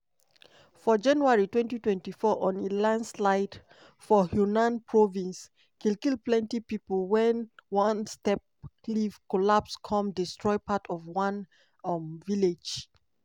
for january 2024 on elandslide for yunnan province kill kill plenty pipo wen onesteep cliff collapse come destroy part of one um village.